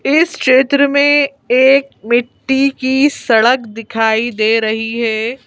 इस क्षेत्र में एक मिट्टी की सड़क दिखाई दे रही है।